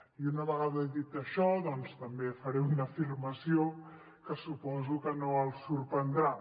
i una vegada he dit això també faré una afirmació que suposo que no els sorprendrà